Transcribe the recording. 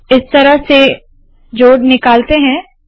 इस तरह से जोड़ निकालते है